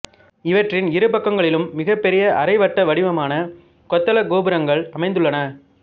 இவற்றின் இருபக்கங்களிலும் மிகப் பெரிய அரைவட்ட வடிவான கொத்தளக் கோபுரங்கள் அமைந்துள்ளன